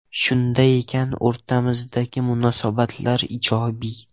Shunday ekan, o‘rtamizdagi munosabatlar ijobiy.